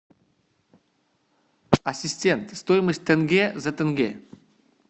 ассистент стоимость тенге за тенге